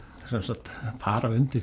sem sagt fara undir